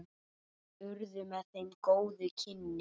Urðu með þeim góð kynni.